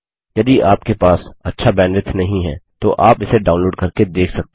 यदि आपके पास अच्छा बैंडविड्थ नहीं है तो आप इसे डाउनलोड करके देख सकते हैं